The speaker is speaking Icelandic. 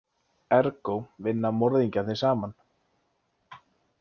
Ergó vinna morðingjarnir saman.